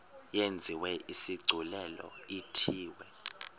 yenziwe isigculelo ithiwe